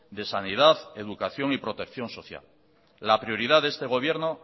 de sanidad educación y protección social la prioridad de este gobierno